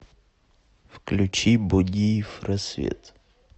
включи бодиев рассвет